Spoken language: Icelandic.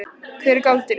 Hver er galdurinn?